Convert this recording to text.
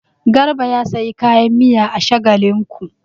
Garba ya sayi kayan miya a Shagalinku.